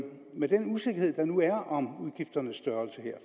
med den usikkerhed der nu er om udgifternes størrelse